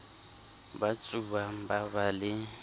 ba tsubang ba ba le